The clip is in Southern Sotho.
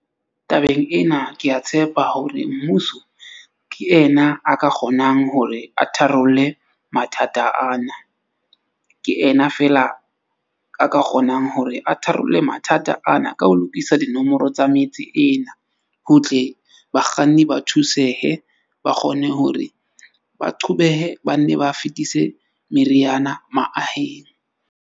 Tabeng ena, ke a tshepa hore mmuso ke ena a ka kgonang hore a tharolle mathata ana. Ke ena feela a ka kgonang hore a tharolle mathata ana. Ka ho lokisa dinomoro tsa metsi ena, ho tle bakganni ba thusehe. Ba kgone hore ba qhobehe, ba nne ba fetise meriana maaheng.